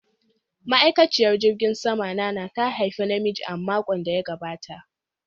Ma'aikaciyar jirgin sama Nnanna ta haifi da namiji a makon da ya gabata.